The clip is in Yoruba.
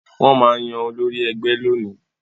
Wọ́n máa yan olórí ẹgbẹ́ lónìí